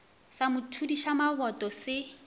sa mo thudiša maboto se